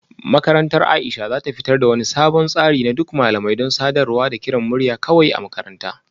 Makarantar Aisha za ta fitar da wani sabon tsari na duk malamai don sadarwa da kiran murya kawai a makaranta